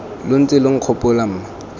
lo ntse lo nkgopola mma